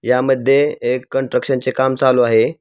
यामध्ये एक कन्ट्रक्शन चे काम चालू आहे.